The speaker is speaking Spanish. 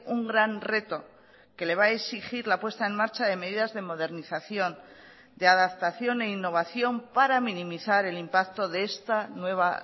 un gran reto que le va a exigir la puesta en marcha de medidas de modernización de adaptación e innovación para minimizar el impacto de esta nueva